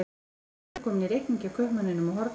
Þau eru komin í reikning hjá kaupmanninum á horninu.